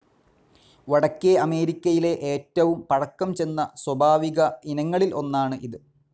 വടക്കേ അമേരിക്കയിലെ ഏറ്റവും പഴക്കം ചെന്ന സ്വാഭാവിക ഇനങ്ങളിൽ ഒന്നാണ് ഇത്.